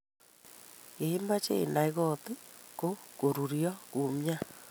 ye imachei inai kot ko-goruryo kumyat?